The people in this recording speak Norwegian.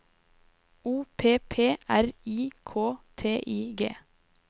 O P P R I K T I G